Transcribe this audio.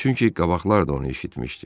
Çünki qabaqlar da onu eşitmişdi.